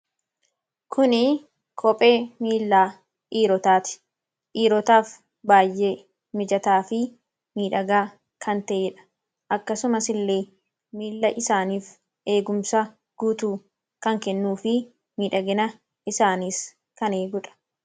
kuni koophee miilaa dhiirotaati dhiirotaaf baay'ee mijataa fi miidhagaa kan ta'ee dha. akkasumas illee miila isaaniif eegumsa guutuu kan kennuu fi miidhagina isaaniis kan eeguudha.